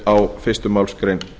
á fyrstu málsgrein